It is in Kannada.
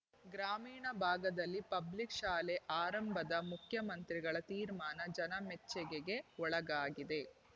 ಗ್ರಾಮೀಣ ಭಾಗದಲ್ಲಿ ಪಬ್ಲಿಕ್ ಶಾಲೆ ಆರಂಭದ ಮುಖ್ಯಮಂತ್ರಿಗಳ ತೀರ್ಮಾನ ಜನಮೆಚ್ಚೆಗೆಗೆ ಒಳಗಾಗಿದೆ